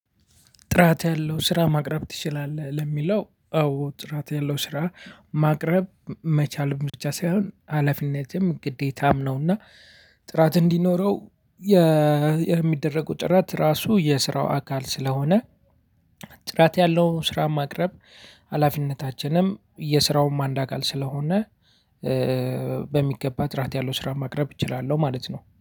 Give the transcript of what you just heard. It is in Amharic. ጥራት ያለው ስራ ማቅረብ ትችላለህ ለሚለው አዎ ጥራት ያለው ስራ ማቅረብ መቻል ብቻ ሳይሆን አላፊነትም ግዴታም ነውና። ጥራት እንዲኖረው የሚደረጉ ጥራት ራሱ የስራው አካል ስለሆነ። ጥራት ያለውን ስራ ማቅረብ ሀላፊነታችንም የስራውም አንድ አካል ስለሆነ። በሚገባ ጥራት ያለው ስራ ማቅረብ እችላለሁ ማለት ነው